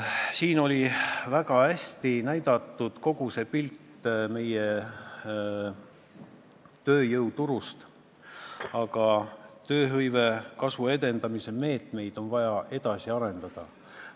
Siin näidati väga hästi meie tööjõuturu kogupilti, aga tööhõive kasvu edendamise meetmeid on vaja edasi arendada.